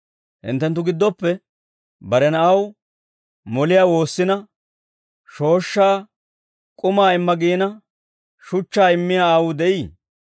«Hinttenttu giddoppe bare na'aw, moliyaa woossina shooshshaa, k'umaa imma giina shuchchaa immiyaa aawuu de'ii?